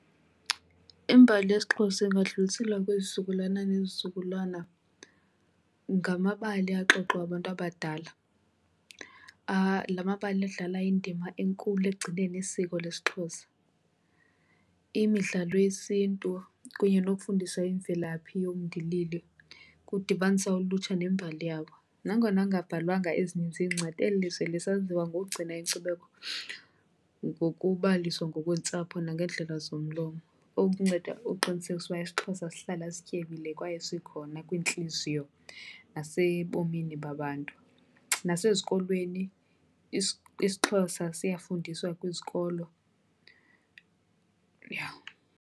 Imbali yesiXhosa ingadluliselwa kwizizukulwana ngezizukulwana ngamabali axoxwa ngabantu abadala. La mabali adlala indima enkulu ekugcineni isiko lesiXhosa, imidlalo yesiNtu kunye nokufundisa imvelaphi yomndilili kudibanisa ulutsha nembali yabo. Nangona kungabhalwanga ezininzi iincwadi eli lizwe lisaziwa ngokugcina inkcubeko ngokubaliswa ngokweentsapho nangendlela zomlomo. Oku kunceda ukuqinisekisa ukuba isiXhosa sihlala sityebile kwaye sikhona kwiintliziyo nasebomini babantu. Nasezikolweni isiXhosa siyafundiswa kwizikolo, yha.